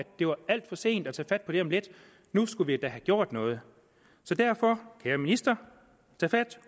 det var alt for sent at tage fat på det om lidt nu skulle vi da have gjort noget så derfor kære minister tag fat